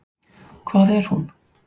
Hvað er hún?